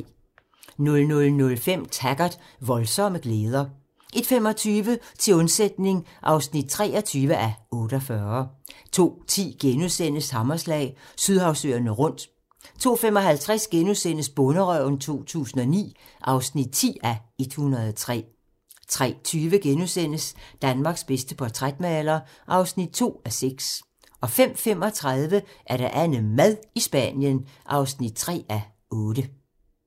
00:05: Taggart: Voldsomme glæder 01:25: Til undsætning (23:48) 02:10: Hammerslag - Sydhavsøerne rundt * 02:55: Bonderøven 2009 (10:103)* 03:20: Danmarks bedste portrætmaler (2:6)* 05:35: AnneMad i Spanien (3:8)